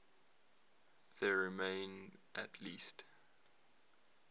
there remain at least